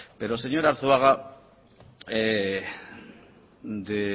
pero señor arzuaga de